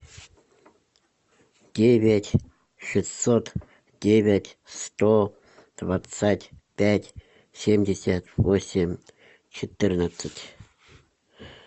девять шестьсот девять сто двадцать пять семьдесят восемь четырнадцать